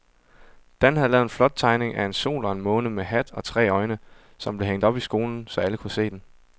Dan havde lavet en flot tegning af en sol og en måne med hat og tre øjne, som blev hængt op i skolen, så alle kunne se den.